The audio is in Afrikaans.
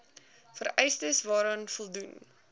vereistes waaraan voldoen